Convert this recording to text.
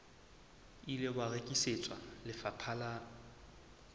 ile wa rekisetswa lefapha la